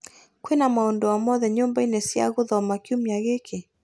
Kwĩna maũndũ o mothe nyũmba-inĩ cia gũthoma kiumia gĩkĩ ?